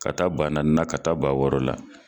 Ka taa bannanin taa ba la